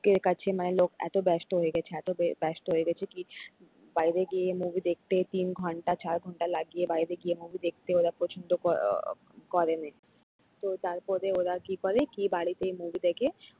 লোকের কাছে মানে লোক এত ব্য ব্যস্ত হয়ে গেছে এত ব্যস্ত হয়ে গেছে কি বাইরে গিয়ে movie দেখতে তিন ঘন্টা চার ঘন্টা লাগিয়ে বাইরে গিয়ে movie দেখতে ওরা পছন্দ ক করেনে তো তারপরে ওরা কি করে ওরা বাড়িতে movie দেখে।